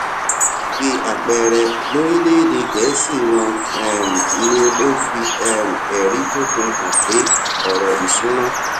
bí àpẹẹrẹ lórílèèdè gèésì wón um ní kó o fi um èrí tó fi hàn pé òrò ìṣúnná